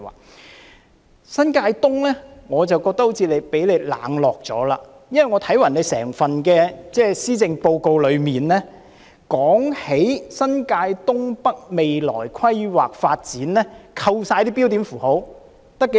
至於新界東，我覺得它好像被局長你冷落了，因為我看整份施政報告中提及新界東北未來規劃發展的內容，在扣除標點符號後，字數有多少呢？